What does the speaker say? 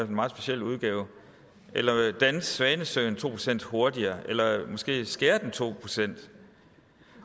meget speciel udgave eller danse svanesøen to procent hurtigere eller måske skære den med to procent